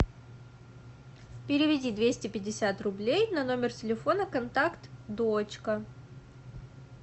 переведи двести пятьдесят рублей на номер телефона контакт дочка